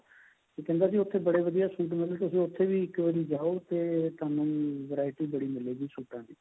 ਕਹਿੰਦਾ ਸੀ ਉੱਥੇ ਬੜੇ ਵਧੀਆ suit ਮਿਲਦੇ ਤੁਸੀਂ ਉੱਥੇ ਵੀ ਇੱਕ ਵਾਰੀ ਜਾਓ ਤੇ ਤੁਹਾਨੂੰ variety ਬੜੀ ਮਿਲੇਗੀ ਸੂਟਾ ਦੀ